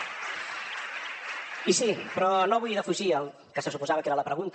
i sí però no vull defugir el que se suposava que era la pregunta